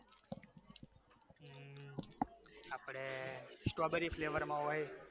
આપડે strawberry flavour માં હોય